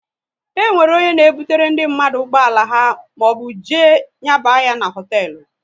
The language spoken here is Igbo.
E nwere onye na ebutere ndị mmadụ ụgbọala ha maọbụ jee nyaba ya n'hotelu